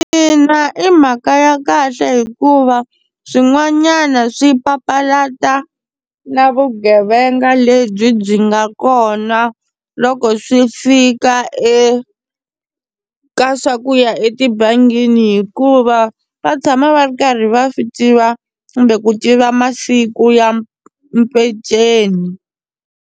Ina, i mhaka ya kahle hikuva swin'wanyana swi papalata na vugevenga lebyi byi nga kona loko swi fika eka swa ku ya etibangini hikuva va tshama va ri karhi va swi tiva kumbe ku tiva masiku ya mpeceni.